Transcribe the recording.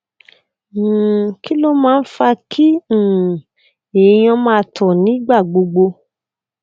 um kí ló máa ń fa kí um èèyàn máa tọ nígbà gbogbo